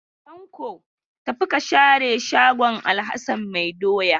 Tanko, tafi ka share shago Alhassan mai doya.